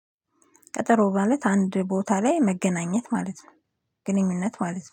ቀጠሮ ማለት አንድ ቦታ ላይ መገናኘት ማለት ነው። ግንኙነት ማለት ነው